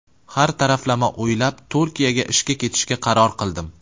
Har taraflama o‘ylab, Turkiyaga ishga ketishga qaror qildim.